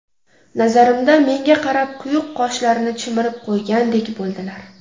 Nazarimda, menga qarab quyuq qoshlarini chimirib qo‘ygandek bo‘ldilar.